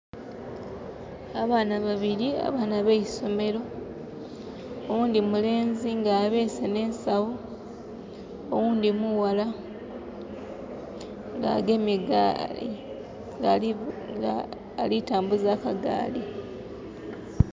Abaana babiri abaana abeisomero, owundi mulenzi nga abese ne nsawo, owundi mughala, nga agemye gaali nga ali vuga...nga alitambuza kagaali